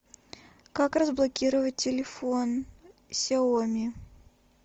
как разблокировать телефон сяоми